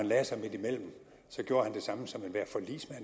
lagde sig midtimellem gjorde han det samme som enhver forligsmand